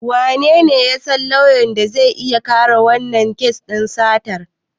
Wanene ya san lauyan da zai iya kare wannan kes din satar?